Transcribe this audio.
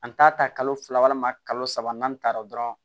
An t'a ta kalo fila walima kalo saba n'an taara dɔrɔn